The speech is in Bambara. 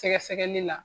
Sɛgɛsɛgɛli la